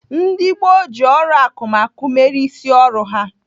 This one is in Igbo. Ndị gboo ji ọrụ akụmakụ mere isi ọrụ ha.